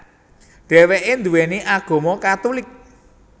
Dheweke nduweni agama Katulik